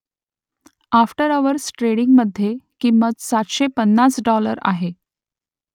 after hours ट्रेडिंगमधे किंमत सातशे पन्नास डाॅलर आहे